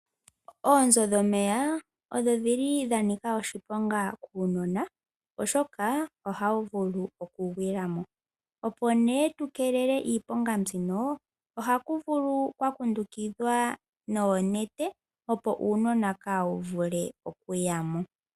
Oonzo dhomeya odho odhili dha nika oshiponga kuunona oshoka ohawu vulu okugwila mo, opo nee tu keelele iiponga mbino ohaku vulu kwa kundukidhwa noonete opo uunona kaawu vule okuyamo.